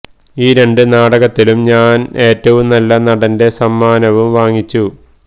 ഈ രണ്ട് നാടകത്തിലും ഞാന് ഏറ്റവും നല്ല നടന്റെ സമ്മാനവും വാങ്ങിച്ചു